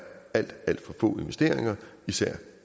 alt alt for få investeringer især